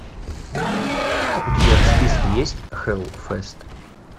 у тебя в списке есть хеллфест